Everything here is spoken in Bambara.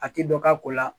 A ti dɔ k'a ko la